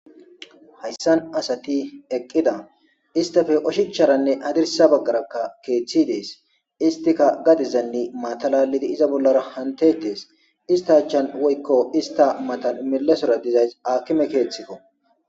hayssan asati eqqida istafe oshicharanne adirsa baggarakka keeththi dees istika gadizanne matalalidi iza bollara hantetees ista achchan woykko ista matan milesora dizays akime keeththikko